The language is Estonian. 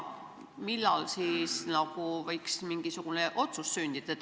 Millal võiks mingisugune otsus sündida?